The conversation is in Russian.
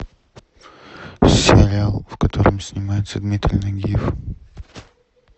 сериал в котором снимается дмитрий нагиев